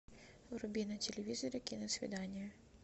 вруби на телевизоре киносвидание